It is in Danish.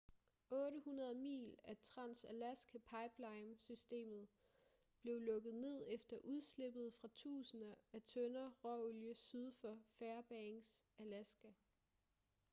800 mil af trans-alaska pipeline systemet blev lukket ned efter udslippet fra tusinder af tønder råolie syd for fairbanks alaska